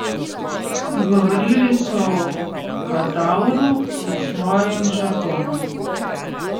Govorili so o kadavru, v svojem žargonu.